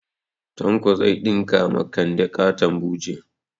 Tanko zai ɗinka ma kande ƙaton buje